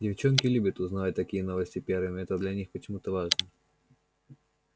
девчонки любят узнавать такие новости первыми это для них почему-то важно